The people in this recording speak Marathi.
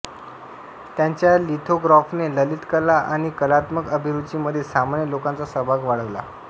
त्यांच्या लिथोग्राफने ललित कला आणि कलात्मक अभिरुचीमध्ये सामान्य लोकांचा सहभाग वाढविला